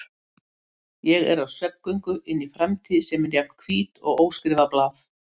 Ég er á svefngöngu inn í framtíð sem er jafn hvít og óskrifað blað.